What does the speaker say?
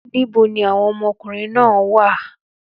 Níbo ni àwọn ọmọkùnrin náà wá à?